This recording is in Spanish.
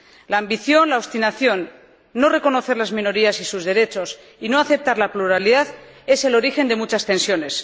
La ambición, la obstinación, no reconocer las minorías y sus derechos y no aceptar la pluralidad son el origen de muchas tensiones.